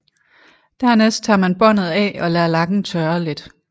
Dernæst tager man båndet af og lader lakken tørre lidt